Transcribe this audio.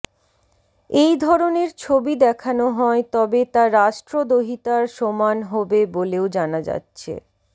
এই ধরনের ছবি দেখানো হয় তবে তা রাষ্ট্রদ্রোহিতার সমান হবে বলেও জানা যাচ্ছে